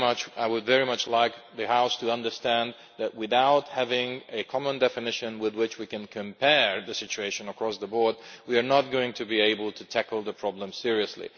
I would very much like the House to understand that, without having a common definition with which we can compare the situation across the board, we are not going to be able to tackle the problem seriously.